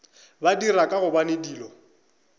ba dira ka gobane dilo